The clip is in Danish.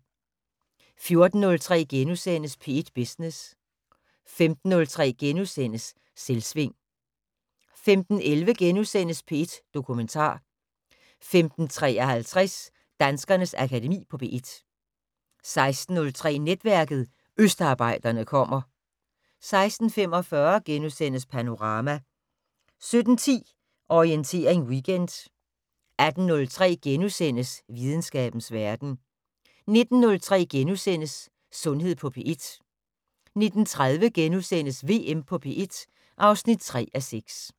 14:03: P1 Business * 15:03: Selvsving * 15:11: P1 Dokumentar * 15:53: Danskernes Akademi på P1 16:03: Netværket: Østarbejderne kommer 16:45: Panorama * 17:10: Orientering Weekend 18:03: Videnskabens Verden * 19:03: Sundhed på P1 * 19:30: VM på P1 (3:6)*